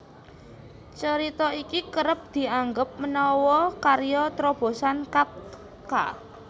Carita iki kerep dianggep menawa karya trobosan Kafka